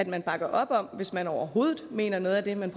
man bakker op om hvis man overhovedet mener noget af det man